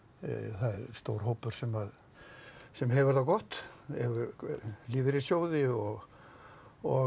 það er stór hópur sem sem hefur það gott hefur lífeyrissjóði og og